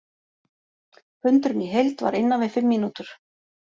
Fundurinn í heild var innan við fimm mínútur.